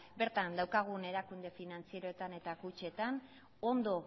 bertan daukagun erakunde finantzieroetan eta kutxetan ondo